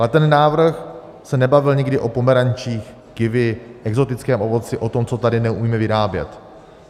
Ale ten návrh se nebavil nikdy o pomerančích, kivi, exotickém ovoci, o tom, co tady neumíme vyrábět.